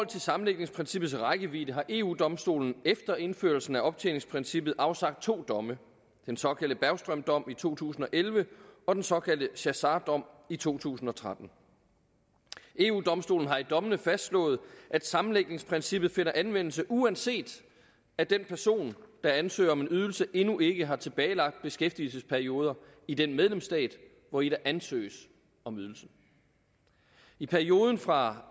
til sammenlægningsprincippets rækkevidde har eu domstolen efter indførelsen af optjeningsprincippet afsagt to domme den såkaldte bergström dom i to tusind og elleve og den såkaldte chassart dom i to tusind og tretten eu domstolen har i dommene fastslået at sammenlægningsprincippet finder anvendelse uanset at den person der ansøger om en ydelse endnu ikke har tilbagelagte beskæftigelsesperioder i den medlemsstat hvori der ansøges om ydelsen i perioden fra